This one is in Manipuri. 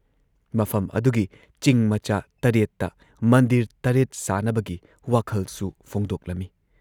ꯃꯐꯝ ꯑꯗꯨꯒꯤ ꯆꯤꯡ ꯃꯆꯥ ꯇꯔꯦꯠꯇ ꯃꯟꯗꯤꯔ ꯇꯔꯦꯠ ꯁꯥꯟꯅꯕꯒꯤ ꯋꯥꯈꯜꯁꯨ ꯐꯣꯡꯗꯣꯛꯂꯝꯏ ꯫